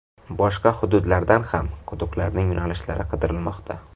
Boshqa hududlardan ham quduqlarning yo‘nalishlari qidirilmoqda.